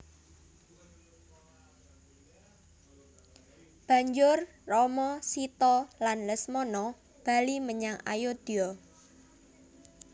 Banjur Rama Sita lan Lesmana bali menyang Ayodya